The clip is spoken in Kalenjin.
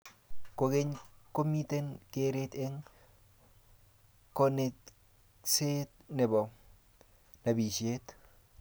kogeny komiten geret eng konekseet nebo nabishet